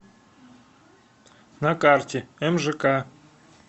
на карте мжк